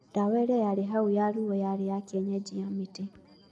Ndawa ĩrĩa yarĩ hũ ya ruo yarĩ ya kĩenyeji ya mĩtĩ